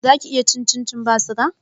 Zaki iya cin cincin ba suga